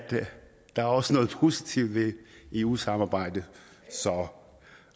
der også er noget positivt ved eu samarbejdet så